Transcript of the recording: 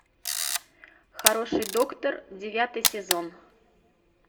хороший доктор девятый сезон